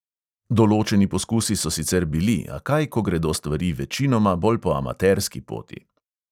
Določeni poskusi so sicer bili, a kaj, ko gredo stvari večinoma bolj po ameterski poti.